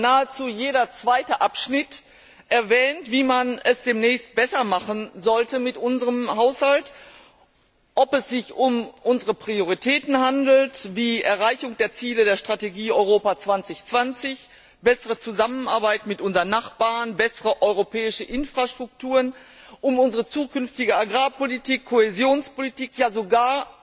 Nahezu jeder zweite Abschnitt erwähnt, wie man es demnächst besser machen sollte mit unserem Haushalt, ob es sich um unsere Prioritäten handelt, wie die Erreichung der Ziele der Strategie Europa 2020, eine bessere Zusammenarbeit mit unseren Nachbarn, bessere europäische Infrastrukturen, oder um unsere zukünftige Agrarpolitik, Kohäsionspolitik, ja sogar